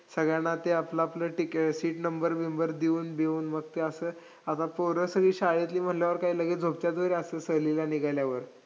त्यासाठी विविध परिषध परिषधांचे तेवीस अहवाल वाचून काडले विविध चरित्र ग्रंथाच ऐकशे चोवीस संदर्भ ग्रंथांचे वाचन केले.असे लेखकाने नोंदवले .